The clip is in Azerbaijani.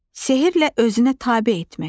Sehrlə özünə tabe etmək.